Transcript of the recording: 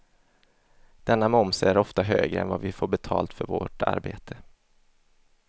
Denna moms är ofta högre än vad vi får betalt för vårt arbete.